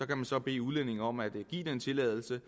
kan man så bede udlændinge om at give tilladelse